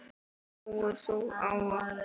Trúir þú á okkur?